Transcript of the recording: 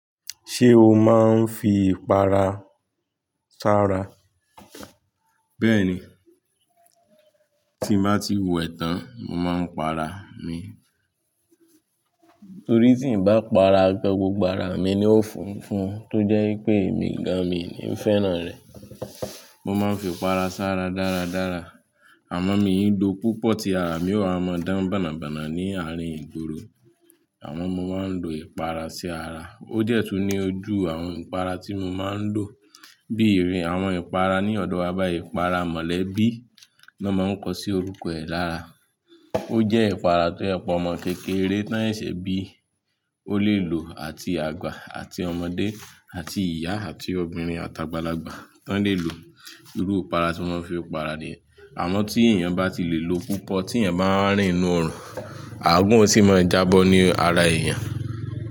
Ṣé o máa ń fi ìpara sára? Bẹ́ẹ̀ni, tí mo bá ti wẹ̀ tán, mo máa ń para mi. Torí tí n bá para, gbogbo ara mi ni ó funfun tó jẹ́ pé èmi gan mi ni fẹ́ràn rẹ̀. Mo máa ń fi ìpara sára dáradára, àmọ́ mi ń lò púpọ̀ tí ara mi ó ha máa dán bànnabàna ní àárín ìgboro. Àmọ́ mo máa ń lo ìpara sí ara. Ó dẹ̀ tún ni àwọn ojú ìpara tí mo máa ń lò, bí ìpara lọ́dọ̀ wa ìpara mọ̀lẹ́bí ló máa ń kọ sí orúkọ rẹ̀ lára. Ó jẹ́ ìpara tó jẹ́ pé omọ́ kékeré tán seṣe bí ó le lò àti àgbà àti ọmọdé àti ìyá àti obìnrin àtàgbàlagbà táń le lò. Irúù ìpara tí mo máa ń fi ń para ni, àmọ́ tí èèyàn bá ti le lò púpọ̀ tí èèyàn bá rìn nínú ọrùn, àgún sì máa jábọ́ ní ara èèyàn.